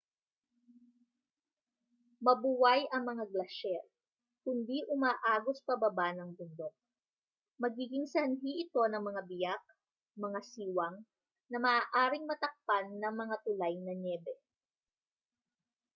mabuway ang mga glasyer kundi umaagos pababa ng bundok magiging sanhi ito ng mga biyak mga siwang na maaaring matakpan ng mga tulay na nyebe